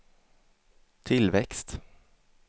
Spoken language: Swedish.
tillväxt